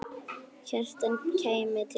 Kjartan kæmi til dyra.